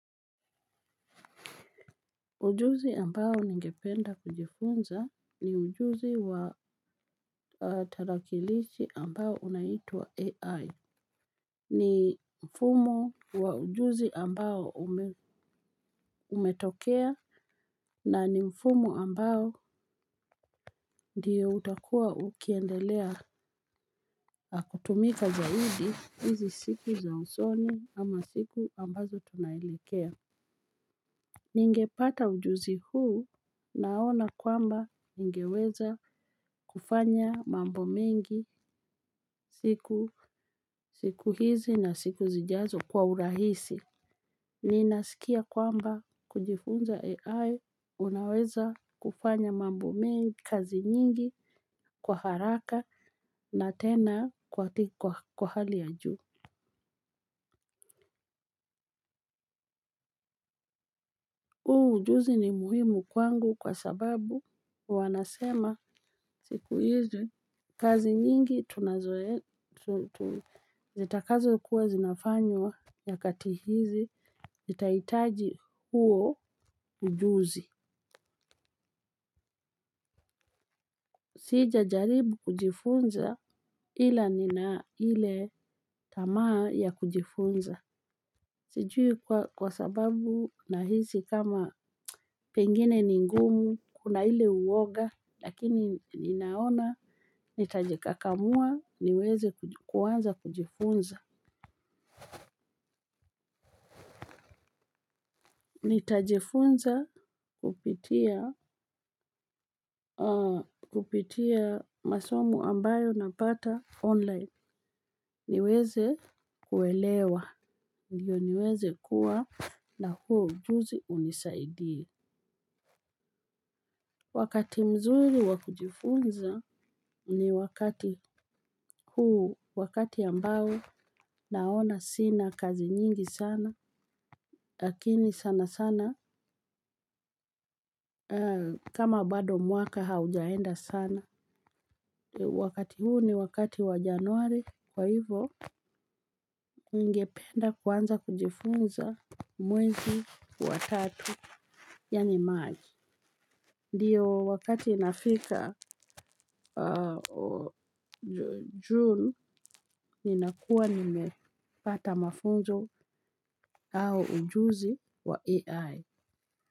Ujuzi ambao ningependa kujifunza ni ujuzi wa tarakilishi ambayo inaitwa AI. Ni mfumo wa ujuzi ambao umetokea na ni mfumo ambao ndio utakua ukiendelea kutumika zaidi hizi siki za usoni ama siku ambazo tunaelekea. Ningepata ujuzi huu naona kwamba ningeweza kufanya mambo mengi siku siku hizi na siku zijazo kwa urahisi. Ninasikia kwamba kujifunza AI unaweza kufanya mambo mengi kazi nyingi kwa haraka na tena kwa hali ya huu ujuzi ni muhimu kwangu kwa sababu wanasema siku hizi kazi nyingi tunazo zitakazo kuwa zinafanywa ya kati hizi zitahitaji huo ujuzi. Sijajaribu kujifunza ila nina ile tamaa ya kujifunza. Sijui kwa sababu nahisi kama pengine ningumu kuna ile uwoga lakini ninaona. Nitajikakamua niweze kuanza kujifunza. Nitajifunza kupitia masomo ambayo napata online. Niweze kuelewa. Ndio niweze kuwa na huo ujuzi unisaidii. Wakati mzuri wakujifunza ni wakati huu wakati ambao naona sina kazi nyingi sana lakini sana sana kama bado mwaka haujaenda sana. Wakati huu ni wakati wa januari kwa hivyo. Ningependa kuanza kujifunza mwezi wa tatu ya ni march. Ndio wakati nafika June ninakua nimepata mafunzo ama ujuzi wa ai.